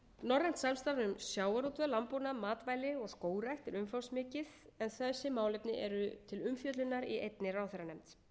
norrænt samstarf um sjávarútveg landbúnað matvæli og skógrækt er umfangsmikið en þessi málefni eru til umfjöllunar í einni ráðherranefnd